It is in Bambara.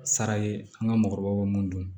Sara ye an ka mɔgɔkɔrɔbaw mun don